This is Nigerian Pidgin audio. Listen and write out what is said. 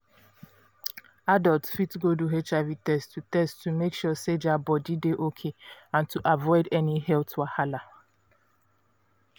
adults fit go do hiv test to test to make sure say their body dey okay and to avoid any health wahala.